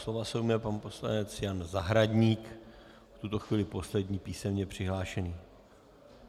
Slova se ujme pan poslanec Jan Zahradník, v tuto chvíli poslední písemně přihlášený.